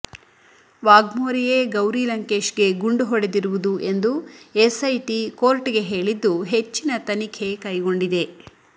ವಾಘ್ಮೋರೆಯೇ ಗೌರಿ ಲಂಕೇಶ್ಗೆ ಗುಂಡು ಹೊಡೆದಿರುವುದು ಎಂದು ಎಸ್ಐಟಿ ಕೋರ್ಟ್ಗೆ ಹೇಳಿದ್ದು ಹೆಚ್ಚಿನ ತನಿಖೆ ಕೈಗೊಂಡಿದೆ